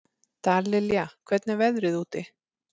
Dallilja, hvernig er veðrið úti?